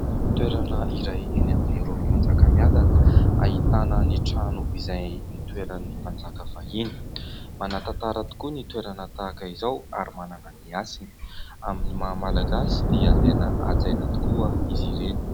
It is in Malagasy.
Toerana iray eny amin'ny rovan'i Manjakamiadana, ahitana ny trano izay nitoeran'ny mpanjaka fahiny. Manatantara tokoa ny toerana tahaka izao ary manana ny hasiny; amin'ny maha Malagasy dia tena hajaina tokoa izy ireny.